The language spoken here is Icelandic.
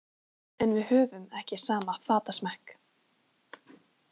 En við höfum ekki sama fatasmekk.